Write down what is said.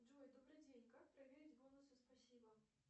джой добрый день как проверить бонусы спасибо